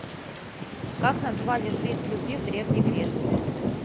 как называли жриц любви в древней греции